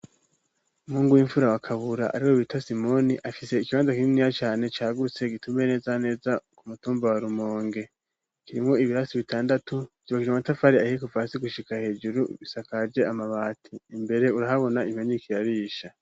Umuhungu w'imfura wa Kabura, ariwe bita Simoni, afise ikibanza kininiya cane cagutse gitumbereye neza na neza ku mutumba wa Rumonge, kirimwo ibirasi bitandatu cubakishije amatafari ahiye kuva hasi gushika hejuru, risakaje amabati, imbere urahabona impene iriko irarisha.